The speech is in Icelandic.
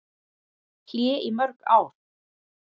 Hlé í mörg ár